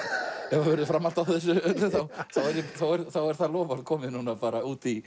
ef það verður framhald á þessu öllu þá er það loforð komið út í